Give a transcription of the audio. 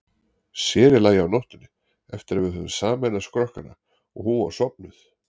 Sér í lagi á nóttunni, eftir að við höfðum sameinað skrokkana og hún var sofnuð.